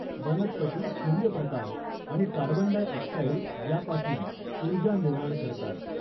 वनस्पती सूर्यप्रकाश आणि कार्बनडाय ऑक्साईड यापासून उर्जा निर्माण करतात.